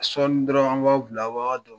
Sɔɔnin dɔrɔn an bila a' b'a ka dɔn